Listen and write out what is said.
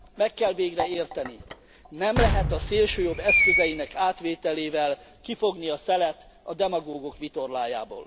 Meg kell végre érteni, nem lehet a szélsőjobb eszközeinek átvételével kifogni a szelet a demagógok vitorlájából.